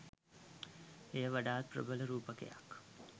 එය වඩාත් ප්‍රබල රූපකයක්